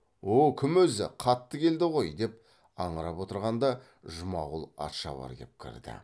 о кім өзі қатты келді ғой десіп аңырап отырғанда жұмағұл атшабар кеп кірді